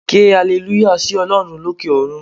Ké alleluya sí Olórun lókè òrun